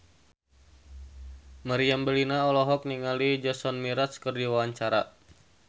Meriam Bellina olohok ningali Jason Mraz keur diwawancara